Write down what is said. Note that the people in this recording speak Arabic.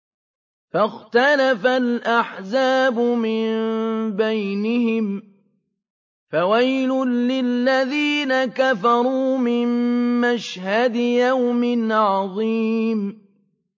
فَاخْتَلَفَ الْأَحْزَابُ مِن بَيْنِهِمْ ۖ فَوَيْلٌ لِّلَّذِينَ كَفَرُوا مِن مَّشْهَدِ يَوْمٍ عَظِيمٍ